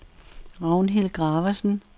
Ragnhild Graversen